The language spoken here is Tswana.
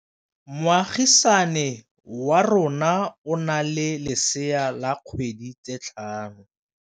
Moagisane wa rona o na le lesea la dikgwedi tse tlhano.